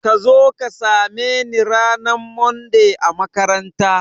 Kazo ka same ni ranar Monday a makaranta